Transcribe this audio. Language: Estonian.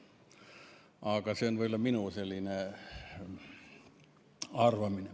Aga see on minu selline arvamine.